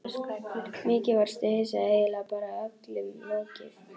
Mikið varstu hissa, eiginlega bara öllum lokið.